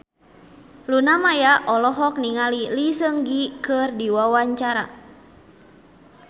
Luna Maya olohok ningali Lee Seung Gi keur diwawancara